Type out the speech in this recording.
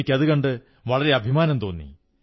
എനിക്കതുകണ്ട് വളരെ അഭിമാനം തോന്നി